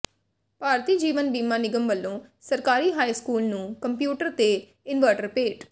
ਭਾਰਤੀ ਜੀਵਨ ਬੀਮਾ ਨਿਗਮ ਵਲੋਂ ਸਰਕਾਰੀ ਹਾਈ ਸਕੂਲ ਨੰੂ ਕੰਪਿਊਟਰ ਤੇ ਇਨਵਰਟਰ ਭੇਟ